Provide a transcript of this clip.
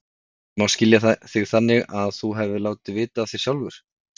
En má skilja þig þannig að þú hafir látið vita af þér sjálfur?